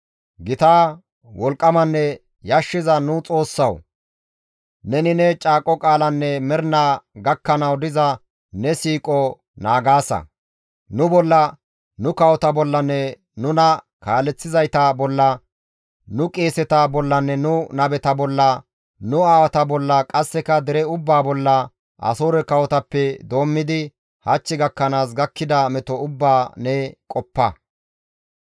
Gita, wolqqamanne yashshiza nu Xoossawu! Neni ne caaqo qaalanne mernaa gakkanawu diza ne siiqo naagaasa; nu bolla, nu kawota bollanne nuna kaaleththizayta bolla nu qeeseta bollanne nu nabeta bolla nu aawata bolla, qasseka dere ubbaa bolla, Asoore kawotappe doommidi hach gakkanaas gakkida meto ubbaa ne qoppa.